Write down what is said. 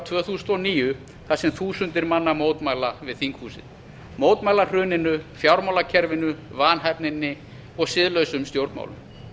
tvö þúsund og níu þar sem þúsundir manna mótmæla við þinghúsið mótmælahruninu fjármálakerfinu vanhæfninni og siðlausum stjórnmálum